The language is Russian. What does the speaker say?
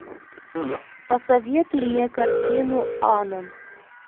посоветуй мне картину анон